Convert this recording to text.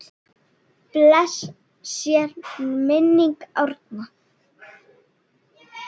Blessuð sé minning Árna.